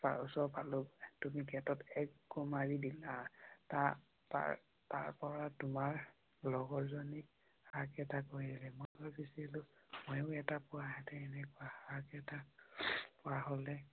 তাৰ পিছত আৰু তুমি গেটোত এক গোৰ মাৰি দিলা। তাৰ পৰা তোমাৰ লগৰ জনিক কৰিলে। মইও এটা পোৱা হেতেন এনেকুৱা